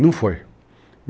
Não foi.